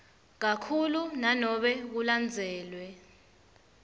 kakhulu nanobe kulandzelwe